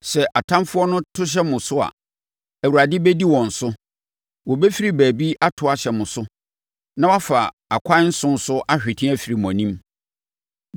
Sɛ atamfoɔ to hyɛ mo so a, Awurade bɛdi wɔn so. Wɔbɛfiri baabi ato ahyɛ mo so na wɔafa akwan nson so ahwete afiri mo anim.